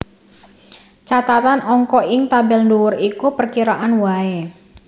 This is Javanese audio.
Catatan Angka ing tabel dhuwur iku perkiraan waé